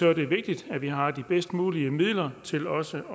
er det vigtigt at vi har de bedst mulige midler til også